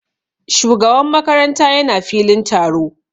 Shugaban makaranta ya na filin taro